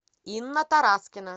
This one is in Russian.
инна тараскина